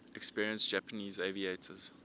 experienced japanese aviators